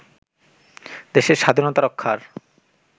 দেশের স্বাধীনতা রক্ষার